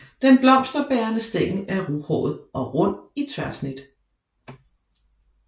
Den blomsterbærende stængel er ruhåret og rund i tværsnit